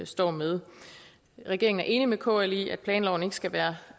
står med regeringen er enig med kl i at planloven ikke skal være